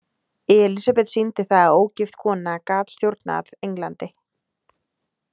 Elísabet sýndi það að ógift kona gat stjórnað Englandi.